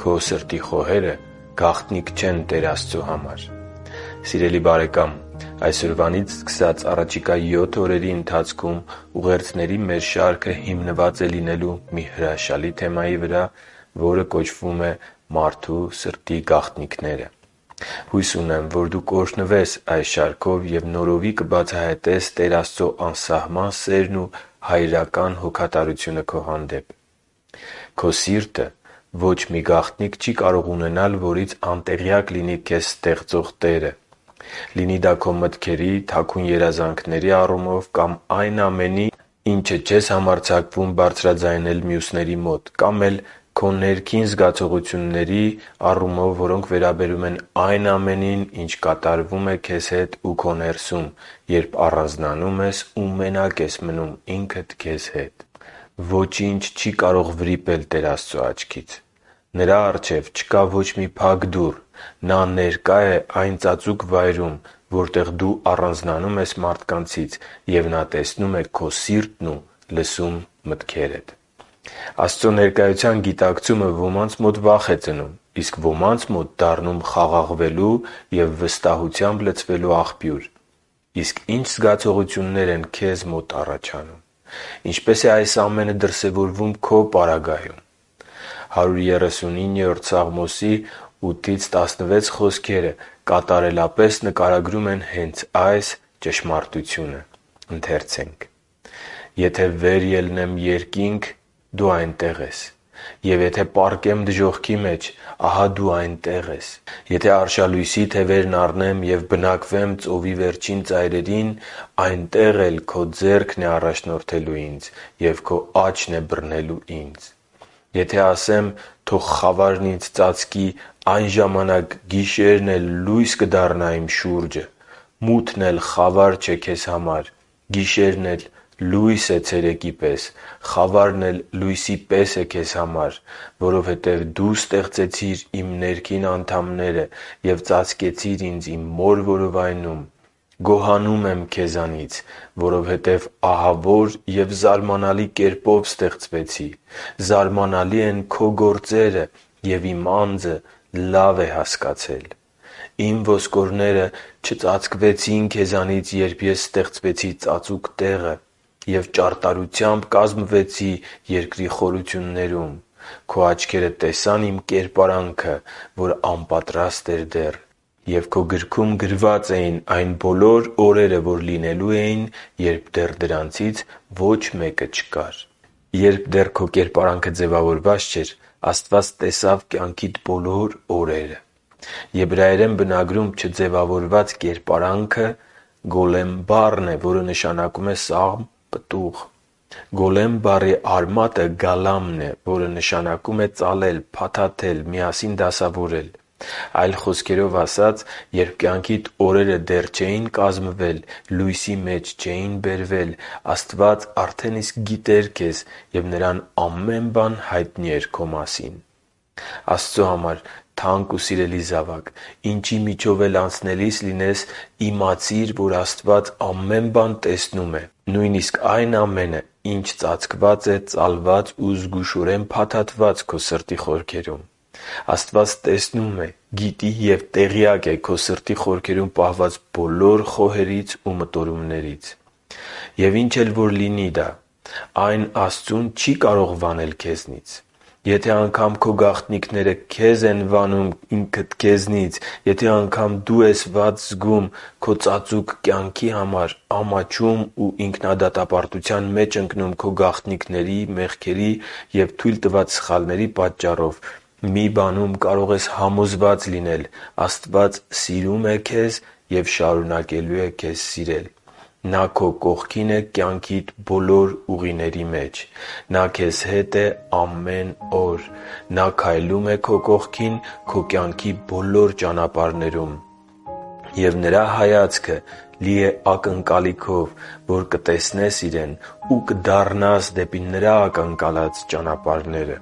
Քո սրտի խոհերը գաղտնիք չեն Տեր Աստծո համար Սիրելի՛ բարեկամ, այսօրվանից սկսած առաջիկա 7 օրերի ընթացքում ուղերձների մեր շարքը հիմնված է լինելու մի հրաշալի թեմայի վրա, որ կոչվում է «Մարդու սրտի գաղտնիքները»։ Հույս ունեմ, որ դու կօրհնվես այս շարքով և նորովի կբացահայտես Տեր Աստծո անսահման սերն ու հայրական հոգատարությունը քո հանդեպ։ Քո սիրտը ոչ մի գաղտնիք չի կարող ունենալ, որից անտեղյակ լինի քեզ ստեղծող Տերը։ Լինի դա քո մտքերի, թաքուն երազանքների առումով կամ այն ամենի, ինչը չես համարձակվում բարձրաձայնել մյուսների մոտ, կամ էլ քո ներքին զգացողությունների, որոնք վերաբերում են այն ամենին, ինչ կատարվում է քեզ հետ ու քո ներսում, երբ առանձնանում ես ու մենակ ես մնում ինքդ քեզ հետ։ Սակայն ոչինչ չի կարող վրիպել Տեր Աստծո աչքից։ Նրա առջև չկա ոչ մի փակ դուռ։ Նա ներկա է այն ծածուկ վայրում, որտեղ դու առանձնանում ես մարդկանցից, և Նա տեսնում է քո սիրտն ու լսում մտքերդ։ Աստծո ներկայության գիտակցումը ոմանց մոտ վախ է ծնում, իսկ ոմանց մոտ դառնում խաղաղվելու և վստահությամբ լցվելու աղբյուր։ Իսկ ի՞նչ զգացողություններ են քեզ մոտ առաջանում։ Ինչպե՞ս է այս ամենը դրսևորվում քո պարագայում։ Սաղմոս 139.8-16 խոսքերը կատարելապես նկարագրում են հենց այս ճշմարտությունը․ «Եթե վեր ելնեմ երկինք, դու այնտեղ ես, և եթե պառկեմ դժոխքի մեջ, ահա Դու այնտեղ ես։ Եթե արշալույսի թևերն առնեմ և բնակվեմ ծովի վերջին ծայրերին, Այնտեղ էլ Քո ձեռքն է առաջնորդելու ինձ, և Քո աջն է բռնելու ինձ։ Եթե ասեմ. «Թող խավարն ինձ ծածկի», այն ժամանակ գիշերն էլ լույս կդառնա իմ շուրջը։ Մութն էլ խավար չէ Քեզ համար, գիշերն էլ լույս է ցերեկի պես, խավարն էլ լույսի պես է Քեզ համար։ Որովհետև Դու ստեղծեցիր իմ ներքին անդամները և ծածկեցիր ինձ իմ մոր որովայնում։ Գոհանում եմ Քեզնից, որովհետև ահավոր և զարմանալի կերպով ստեղծվեցի. զարմանալի են Քո գործերը, և իմ անձը լավ է հասկացել։ Իմ ոսկորները չծածկվեցին Քեզնից, երբ ես ստեղծվեցի ծածուկ տեղը, և ճարտարությամբ կազմվեցի երկրի խորություններում։ Քո աչքերը տեսան իմ կերպարանքը, որ անպատրաստ էր դեռ, և Քո գրքում գրված էին այն բոլոր օրերը, որ լինելու էին, երբ դեռ նրանցից ոչ մեկը չկար»։ Երբ դեռ քո կերպարանքը ձևավորված չէր, Աստված տեսավ կյանքիդ բոլոր օրերը։ Եբրայերեն բնագրում «չձևավորված կերպարանքը» «գոլեմ» բառն է, որ նշանակում է սաղմ, պտուղ։ «Գոլեմ» բառի արմատը «գալամ»-ն է, որ նշանակում է ծալել, փաթաթել, միասին դասավորել։ Այլ խոսքերով ասած, երբ կյանքիդ օրերը դեռ չէին կազմվել, լույսի մեջ չէին բերվել, Աստված արդեն իսկ գիտեր քեզ և Նրան ամեն բան հայտնի էր քո մասին։ Աստծո համար թանկ ու սիրելի՛ զավակ, ինչի միջով էլ անցնելիս լինես, իմացիր, որ Աստված ամեն բան տեսնում է։ Նույնիսկ այն ամենը, ինչ ծածկված է, ծալված ու զգուշորեն փաթաթված քո սրտի խորքերում։ Աստված տեսնում է, գիտի և տեղյակ է քո սրտի խորքերում պահված բոլոր խոհերից ու մտորումներից։ Եվ ինչ էլ որ դա լինի, այն Աստծուն չի կարող վանել քեզնից։ Եթե անգամ քո գաղտնիքները քեզ են վանում քեզնից, եթե անգամ դու ես վատ զգում քո ծածուկ կյանքի համար՝ ամաչում ու ինքնադատապարտության մեջ ընկնում քո գաղտնիքների, մեղքերի ու թույլ տված սխալների պատճառով, մի բանում կարող ես համոզված լինել՝ Աստված սիրում է քեզ և շարունակելու է քեզ սիրել։ Նա քո կողքին է կյանքիդ ուղիների մեջ։ Նա քեզ հետ է ամեն օր։ Նա քայլում է քո կողքին քո կյանքի բոլոր ճանապարհներում։ Եվ Նրա հայացքը լի է ակնկալիքով, որ կտեսնես Իրեն ու կդառնաս դեպի Նրա ակնկալած ճանապարհները։